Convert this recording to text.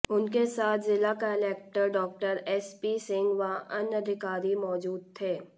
उनके साथ जिला collector Dr S P Singh व अन्य अधिकारी मौजूद थे